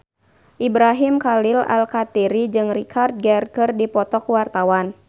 Ibrahim Khalil Alkatiri jeung Richard Gere keur dipoto ku wartawan